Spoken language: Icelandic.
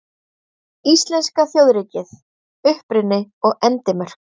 Íslenska þjóðríkið: Uppruni og endimörk.